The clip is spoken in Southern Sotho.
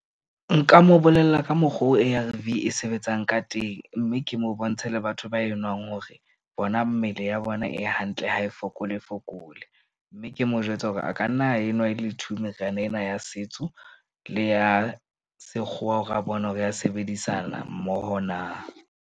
Nka mo bolella ka mokgo A_R_V e sebetsang ka teng. Mme ke mo bontshe le batho ba enwang hore bona mmele ya bona e hantle ha e fokole fokole. Mme ke mo jwetse hore a ka nna enwa ele two, meriana ena ya setso le ya sekgowa hore a bone hore ya sebedisana mmoho na.